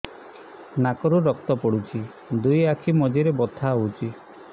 ନାକରୁ ରକ୍ତ ପଡୁଛି ଦୁଇ ଆଖି ମଝିରେ ବଥା ହଉଚି